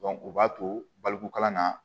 u b'a to balikukalan na